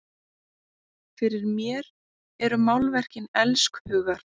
Fyrir mér eru málverkin elskhugar!